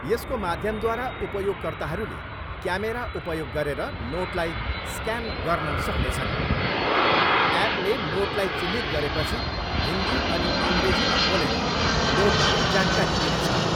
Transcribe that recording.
यसको माध्यमद्वारा उपयोगकर्ताहरूले क्यामेरा उपयोग गरेर नोटलाई स्क्यान गन्न सक्नेछन्। एपले नोटलाई चिह्नित गरेपछि हिन्दी अनि अङ्ग्रेजीमा बोलेर नोटबारे जानकारी दिनेछ।